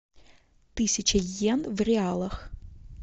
тысяча йен в реалах